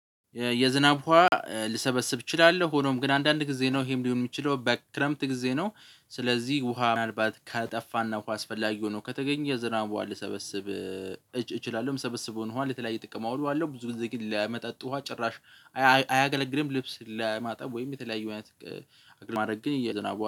የዝናብ ውሃ ልሰበስብ እችላለሁ ሆኖም ግን አንዳንድ ጊዜ ነው ይህም ሊሆን የሚችለው በክረምት ጊዜ ነው። ስለዚህ ውሃ ምናልባት ከጠፋና ውሃ አስፈላጊ ሆኖ ከተገኘ የዝናብ ውሃ ልሰበስብ። እችላለሁ የምሰበስውን ውሃ ለተለያየ ጥቅም አውለዋለሁ፤ ብዙ ጊዜ ግን ለመጠጥ ውሃ ጭራሽ አያገለግልም። ልብስ ለማጠብ ወይም የተለያዩ አይነት። አግሪማድረግ ግን የዝናብ ውሃ